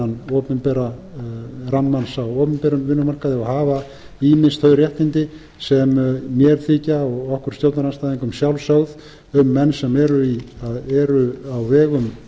innan opinbera rammans á opinberum vinnumarkaði og hafa ýmis þau réttindi sem mér þykja og okkur stjórnarandstæðingum sjálfsögð um menn sem eru á vegum